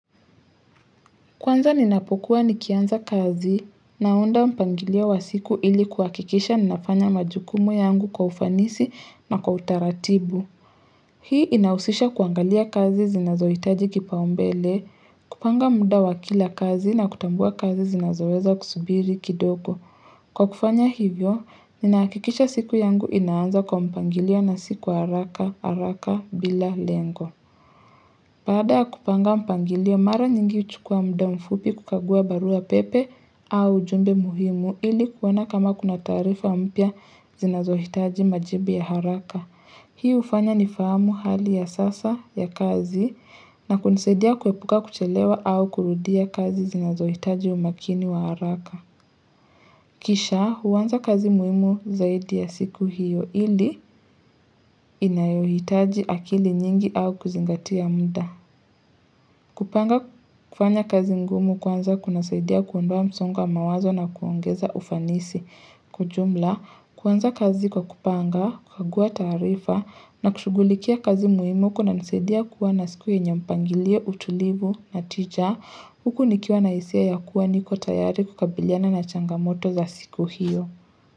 Kwanza ninapokuwa nikianza kazi, naunda mpangilio wa siku ili kuhakikisha ninafanya majukumu yangu kwa ufanisi na kwa utaratibu. Hii inahusisha kuangalia kazi zinazoitaji kipao mbele, kupanga muda wa kila kazi na kutambua kazi zinazoweza kusubiri kidogo. Kwa kufanya hivyo, nina hakikisha siku yangu inaanza kwa mpangilio na si kwa haraka, haraka, bila, lengo. Baada ya kupanga mpangilio, mara nyingi huchukua muda mfupi kukagua barua pepe au ujumbe muhimu ili kuoana kama kuna taarifa mpya zinazohitaji majibu ya haraka. Hii ufanya ni fahamu hali ya sasa ya kazi na kunisadia kuepuka kuchelewa au kurudia kazi zinazohitaji umakini wa haraka. Kisha huanza kazi muhimu zaidi ya siku hiyo ili inayohitaji akili nyingi au kuzingatia muda. Kupanga kufanya kazi ngumu kwanza kuna saidia kuondoa msongo wa mawazo na kuongeza ufanisi. Kwa ujumla, kwanza kazi kwa kupanga, kukagua tarifa na kushugulikia kazi muhimu kunanisaidia kuwa na siku yenye mpangilio, utulivu na tija. Huku nikiwa na hisia ya kuwa niko tayari kukabiliana na changamoto za siku hiyo.